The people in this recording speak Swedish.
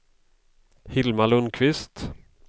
Hilma Lundqvist